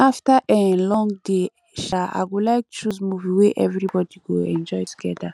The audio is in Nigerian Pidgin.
after um long day um i go like choose movie wey everybody go enjoy together